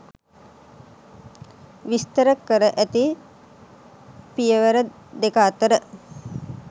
විස්තර කර ඇති පියවර දෙක අතර